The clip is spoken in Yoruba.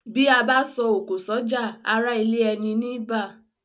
Bí abá so òkò sọ́jà ará ilé eni ní bá